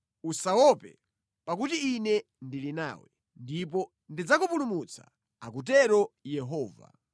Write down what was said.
Usawaope, pakuti Ine ndili nawe, ndipo ndidzakupulumutsa,” akutero Yehova.